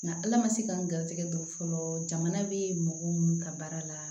Nka ala ma se ka n garisɛgɛ don fɔlɔ bɛ mɔgɔ minnu ka baara la